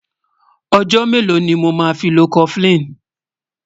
ọ̀jò mélò ní mọ má fí ló koflin?